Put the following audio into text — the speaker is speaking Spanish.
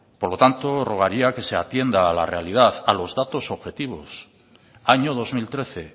por lo tanto rogaría que se atienda a la realidad a los datos objetivos año dos mil trece